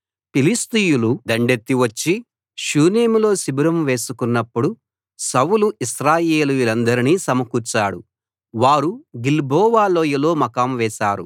ఫిలిష్తీయులు దండెత్తి వచ్చి షూనేములో శిబిరం వేసుకున్నప్పుడు సౌలు ఇశ్రాయేలీయులందరినీ సమకూర్చాడు వారు గిల్బోవ లోయలో మకాం వేసారు